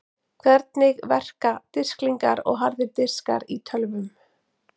Hvernig verka disklingar og harðir diskar í tölvum?